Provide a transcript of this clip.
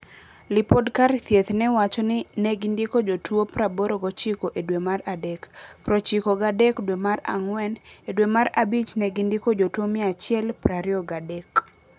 Lipode kar thieth no wacho ni negindiko jotuo praboro gochiko e dwe mar adek, prochiko gadek dwe mar ang'wen. Edwe mar abich negindiko jotuo mia achiel prario gadek.